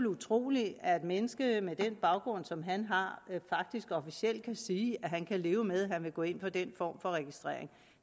utroligt at et menneske med den baggrund som han har faktisk officielt kan sige at han kan leve med at gå ind for den form for registrering